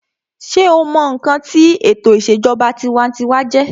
sé o mọ ǹkan tí ètò ìṣèjọba tinwatinwa jẹ́?